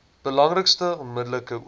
belangrikste onmiddellike oorsake